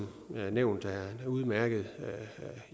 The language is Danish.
nævnt er en udmærket